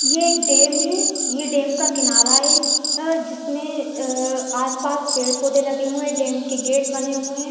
ये एक डेम हैये डेम का किनारा हैअ जिसमे अ आस पास पेड़-पौधे लगे हुए हैडेम के गेट बने हुए है।